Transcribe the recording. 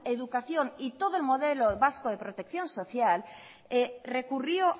educación y todo el modelo vasco de protección social recurrió